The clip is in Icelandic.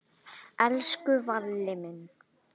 Elsku Valli minn.